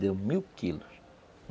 Deu mil quilos.